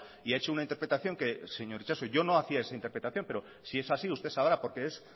y ha hecho una interpretación que señor itxaso yo no hacía esa interpretación pero si es así usted sabrá por qué es